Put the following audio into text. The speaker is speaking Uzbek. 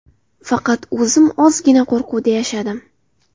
Faqat o‘zim ozgina qo‘rquvda yashadim.